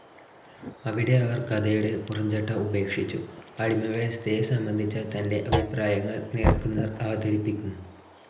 അവിടെ അവർ കഥയുടെ പുറംചട്ട ഉപേക്ഷിച്ചു, അടിമവ്യവസ്ഥയെ സംബന്ധിച്ച തൻ്റെ അഭിപ്രായങ്ങൾ നേർക്കുനേർ അവതരിപ്പിക്കുന്നു.